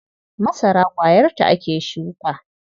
Masara ƙwayarta ake shuka.